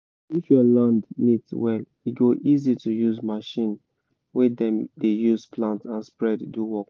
if your land neat well e go easy to use machine wey dem dey use plant and spread do work